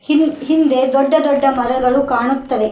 ಹಿಂದ್ ಹಿಂದೆ ದೊಡ್ಡ ದೊಡ್ಡ ಮರಗಳು ಕಾಣುತ್ತದೆ.